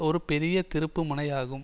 ஒரு பெரிய திருப்பு முனையாகும்